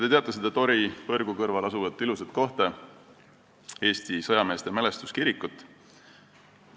Te teate seda Tori põrgu kõrval asuvat ilusat kohta, Eesti sõjameeste mälestuskirikut.